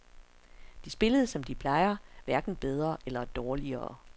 De spillede som de plejer, hverken bedre eller dårligere.